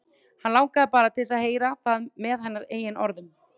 Hann langaði bara til að heyra það með hennar eigin orðum.